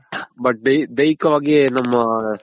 but ದೈಹಿಕವಾಗಿ ನಮ್ಗ್